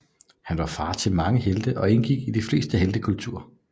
Han var far til mange helte og indgik i de fleste heltekulter